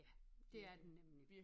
Ja dét er den nemlig